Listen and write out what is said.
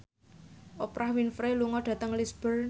Oprah Winfrey lunga dhateng Lisburn